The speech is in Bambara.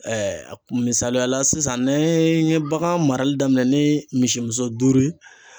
a kun misaliya la sisan n'an ye bagan marali daminɛ ni misimuso duuru ye